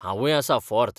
हांवूय आसां फॉर्त.